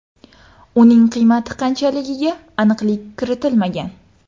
Uning qiymati qanchaligiga aniqlik kiritilmagan.